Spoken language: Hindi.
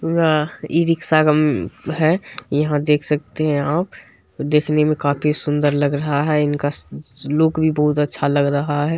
इ रिक्शा है यहाँ देख सकते है आप देखने में काफी सुंदर लग रहा है इनका स लुक भी बहुत अच्छा लग रहा है।